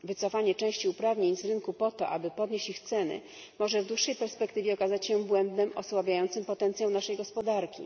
Wycofanie części uprawnień z rynku po to, aby podnieść ich ceny, może w dłuższej perspektywie okazać się błędem osłabiającym potencjał naszej gospodarki.